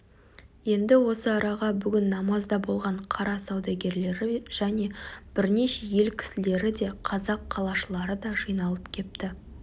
енді осы араға бүгін намазда болған қала саудагерлері және бірнеше ел кісілері де қазақ қалашылары да жиналып кепті